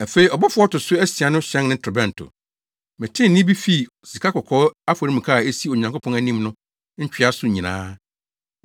Afei ɔbɔfo a ɔto so asia no hyɛn ne torobɛnto. Metee nne bi fii sikakɔkɔɔ afɔremuka a esi Onyankopɔn anim no ntwea so nyinaa.